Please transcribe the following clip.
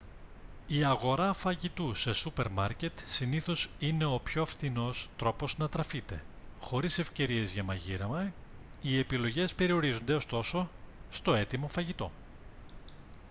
η αγορά φαγητού σε σούπερ μάρκετ συνήθως είναι ο πιο φθηνός τρόπος να τραφείτε χωρίς ευκαιρίες για μαγείρεμα οι επιλογές περιορίζονται ωστόσο στο έτοιμο φαγητό